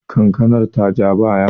kankanar ta ja baya?